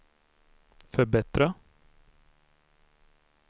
förbättra